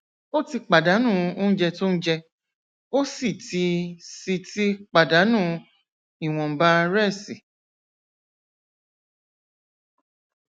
ó ti pàdánù oúnjẹ tó ń jẹ ó sì ti sì ti pàdánù ìwònba rẹsí